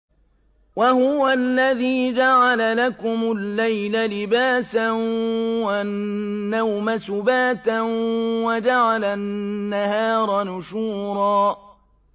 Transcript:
وَهُوَ الَّذِي جَعَلَ لَكُمُ اللَّيْلَ لِبَاسًا وَالنَّوْمَ سُبَاتًا وَجَعَلَ النَّهَارَ نُشُورًا